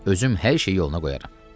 Özüm hər şeyi yoluna qoyaram.